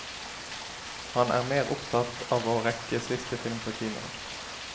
Han er mer opptatt av å rekke siste film på kinoen.